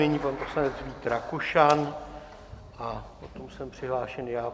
Nyní pan poslanec Vít Rakušan a potom jsem přihlášen já.